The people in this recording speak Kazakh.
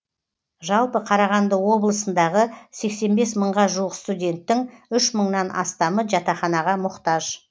жалпы қарағанды облысындағы сексен бес мыңға жуық студенттің үш мыңнан астамы жатақханаға мұқтаж